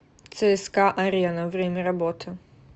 цска арена время работы